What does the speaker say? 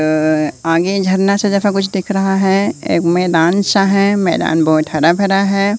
अं आगे झरना जैसा जगह कुछ दिख रहा है एक मैदान सा है मैदान बहोत हरा भरा है।